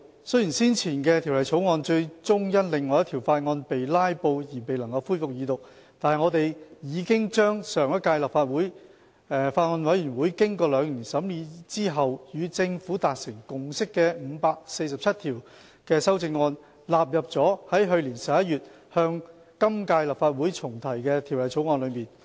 雖然先前的《條例草案》最終因另一項法案被"拉布"而未能恢復二讀，但我們已把上屆立法會法案委員會經兩年審議後與政府達成共識的547項修正案，納入了在去年11月向今屆立法會重提的《條例草案》中。